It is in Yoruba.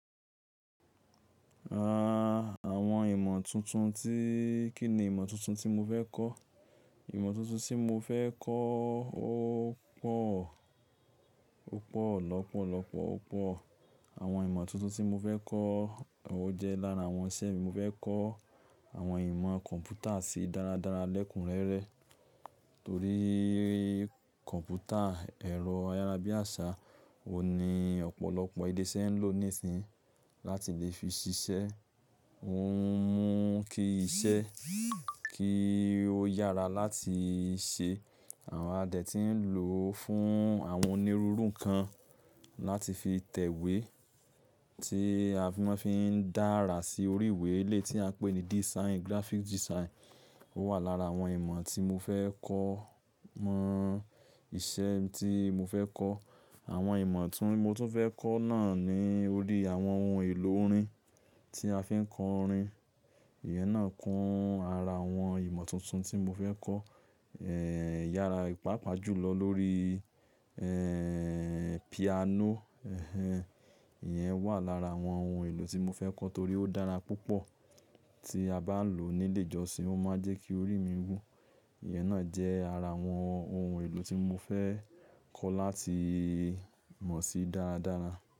Àwọn ìmọ̀ tuntun tí, kíni ìmọ̀ tuntun tí mo fẹ́ kọ̀? Ìmọ̀ tuntun tí mo fẹ́ kọ́ ó pọ̀, ó pọ̀ lọ́pọ̀lọ́pọ̀, ó pọ̀. Àwọn ìmọ̀ tuntun tí mo fẹ́ kọ́, ó jẹ́ lára àwọn iṣẹ́ mi mo fẹ́ kọ́ àwọn ìmọ̀ kọ̀m̀pútà sí dára dára lẹ́kúnrẹ́rẹ́. Torí kọ̀m̀pútà ẹ̀rọ ayárabíàṣá òun ni ọ̀pọ̀lọpọ̀ ilé iṣẹ́ ń lò nísin láti lè fi ṣiṣẹ́. Ó ń mú kí iṣẹ́ kí ó yára láti ṣe. Àwọn a dẹ̀ tí ń lò fún àwọn onírúurú nǹkan láti fi tẹ̀wé tí a fi maa ń fi dáara sí orí ìwé eléyìí tí a ń pè ní design, graphic design. Ó wà lára àwọn ìmọ̀ tí mo fẹ́ kọ́ mọ̀. Iṣẹ́ tí mo fẹ́ kọ́, àwọn ìmọ̀ tún mo tún fẹ́ kọ́ náà ni orí àwọn ohun èlò orin tí a fi ń kọ orin. Ìyẹn náà kún ara àwọn ìmọ̀ tuntun tí mo fẹ́ kọ́. Èè, yára, pàápàá jùlọ lórí, ẹ́ẹ́, piano. Ẹ̀hẹn, ìyẹn wà lára àwọn ohun èlò tí mo fẹ́ kọ́ torí ó dára púpọ̀ tí a bá ń lò ó nílé ìjọsìn, ó máa ń jẹ́ kí orí mi wú. Ìyẹn náà jẹ́ ara àwọn ohun èlò tí mo fẹ́ kọ́ láti mọ̀ sí dára dára.